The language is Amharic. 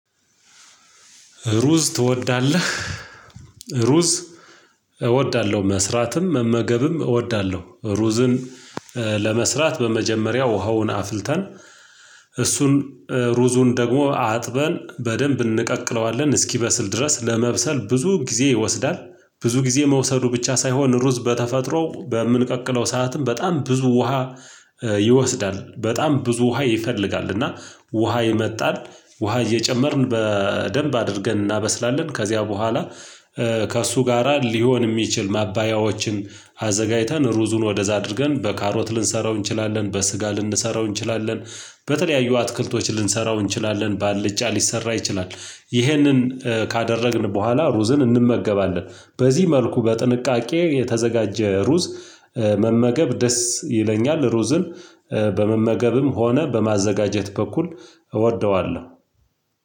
ሩዝ ትወዳለህ? ሩዝ እወዳለሁ መስራትም መመገብም እወዳለሁ። ሩዝን ለመስራት በመጀመሪያ ውሃውን አፍልተን እሱን ሩዙን ደግሞ አጥበን በደንብ እንቀቅለዋለን እስኪበስል ድረስ ለመብሰል ብዙ ጊዜ ይወስዳል። ብዙ ጊዜ መውሰዱ ብቻ ሳይሆን ሩዝ በተፈጥሮ በምንቀቅለው ሰዓትም በጣም ብዙ ውሃ ይወስዳል በጣም ብዙ ውሃ ይፈልጋል። እና ውሃ ይመጣል ውሃ እየጨመርን በደንብ አድርገን እናበስላለን። ከዚያ በኋላ ከእሱ ጋራ ሊሆን የሚችል ማባያዎችን አዘጋጅተን ሩዙን ወደዛ አድርገን በካሮት ልንሰራው እንችላለን በስጋ ልንሰራው እንችላለን። በተለያዩ አትክልቶች ልንሰራው እንችላለን ባልጫ ሊሰራ ይችላል። ይሄንን ካደረግን በኋላ ሩዝን እንመገባለን። በዚህ መልኩ በጥንቃቄ የተዘጋጀ ሩዝ መመገብ ደስ ይለኛል። ሩዝን በመመገብም ሆነ በማዘጋጀት በኩል እወደዋለሁ።